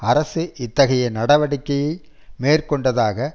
அரசு இத்தகைய நடவடிக்கையை மேற்கொண்டதாக